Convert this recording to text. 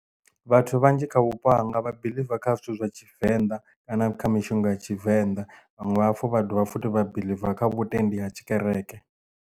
Vhathu vhanzhi kha vhupo hanga vha biḽiva kha zwithu zwa tshivenḓa kana kha mishonga ya tshivenḓa vhaṅwe vha hafhu vha dovha futhi vha biḽiva kha vhutendi ha tshikereke.